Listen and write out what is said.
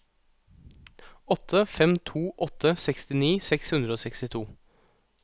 åtte fem to åtte sekstini seks hundre og sekstito